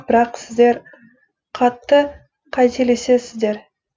бірақ сіздер қатты қателесіздер